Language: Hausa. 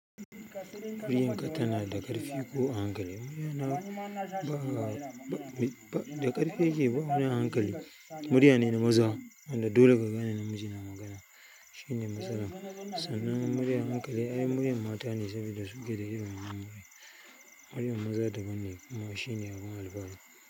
Muryarka tanada ƙarfi ko a hankali, murya na da ƙarfi yakeyi ba wani a hankali murya ne na maza wanda dole ka gane namiji yana magana shine matsalar. Sannan murya a hankali ai muryar mata ne saboda su keda irin wannan. Muryar maza daban ne kuma shine abin alfahari.